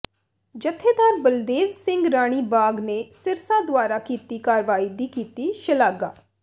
ਜਥੇਦਾਰ ਬਲਦੇਵ ਸਿੰਘ ਰਾਣੀ ਬਾਗ ਨੇ ਸਿਰਸਾ ਦੁਆਰਾ ਕੀਤੀ ਕਾਰਵਾਈ ਦੀ ਕੀਤੀ ਸ਼ਲਾਘਾ